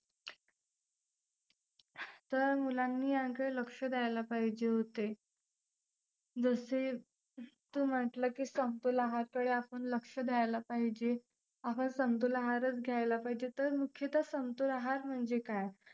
तर मुलांनी यांकडे लक्ष द्यायला पाहिजे होते. दुसरी तू म्हंटलं की समतोल आहारकडे आपण लक्ष द्यायला पाहिजे. आपण समतोल आहारच घ्यायला पाहिजे तर मुख्यतः समतोल आहार म्हणजे काय?